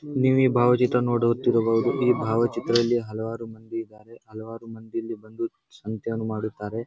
ನೀವ್ ಈ ಭಾವ ಚಿತ್ರವನ್ನು ನೋಡುತ್ತಿರಬಹುದು ಈ ಭಾವ ಚಿತ್ರದಲ್ಲಿ ಹಲವಾರು ಮಂದಿ ಇದ್ದಾರೆ. ಹಲವಾರು ಮಂದಿ ಇಲ್ಲಿ ಬಂದು ಸಂತೆಯನ್ನು ಮಾಡುತ್ತಾರೆ.